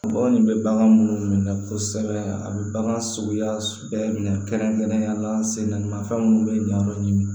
Bagan bɛ bagan minnu minɛ kosɛbɛ a bɛ bagan sogoya bɛɛ minɛ kɛrɛnkɛrɛnnenya la sen namafɛn minnu bɛ yen n'an b'o ɲini